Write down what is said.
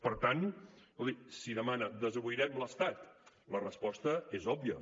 per tant escolti si demana desobeirem l’estat la resposta és òbvia